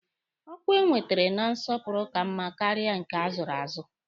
Ọkwa enwetere na nsọpụrụ ka mma karịa nke azụrụ azụ.